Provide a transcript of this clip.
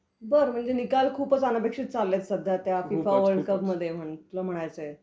बरं, म्हणजे निकाल खूपच अनपेक्षित चाललेत सध्या त्या फिफा वर्ल्डकपमध्ये. म्हणलं.. म्हणायचंय.